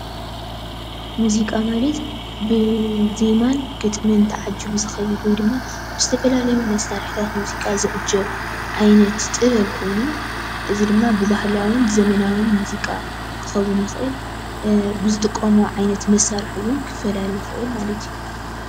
ሙዚቓ ማለት ብዜማን ብግጥንምን ተዓጂቡ ዝኸይድ ወይ ድማ ዝተፍፈላለዩ መሳርሕታት ሙዚቓ ዝዕጀብ ዓይነት ጥበብ ኮይኑ እዚ ድማ ብባህላውን ዘመናውን ሙዚቓ ክከውን ይኽእል ብዝጥቀሞ ዓይነት መሳርሒ ውን ክፈላለ ይኽእል ማለት እዩ።